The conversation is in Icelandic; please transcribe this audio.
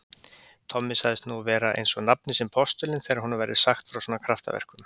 Tommi sagðist nú vera einsog nafni sinn postulinn þegar honum væri sagt frá svona kraftaverkum.